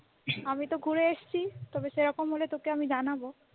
আমি তো ঘুরে এসেছি তবে সেরকম হলে তোকে আমি জানাবো